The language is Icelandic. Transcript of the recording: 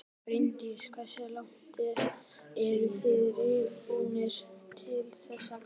Bryndís: Hversu langt eruð þið reiðubúnir til þess að ganga?